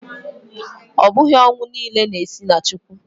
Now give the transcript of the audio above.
Ọ bụghị ọnwụ niile na-esi na Chukwu